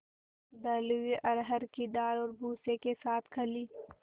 दली हुई अरहर की दाल और भूसे के साथ खली